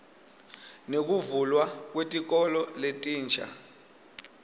nekuvulwa kwetikolo letinsha